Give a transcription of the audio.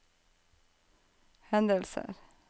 hendelser